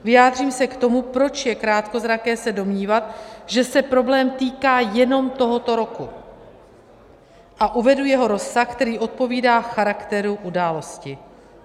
Vyjádřím se k tomu, proč je krátkozraké se domnívat, že se problém týká jenom tohoto roku, a uvedu jeho rozsah, který odpovídá charakteru události.